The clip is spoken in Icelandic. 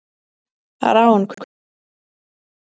Rán, hvernig er veðrið í dag?